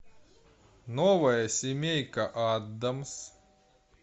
новая семейка аддамс